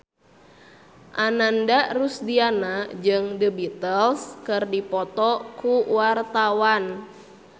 Ananda Rusdiana jeung The Beatles keur dipoto ku wartawan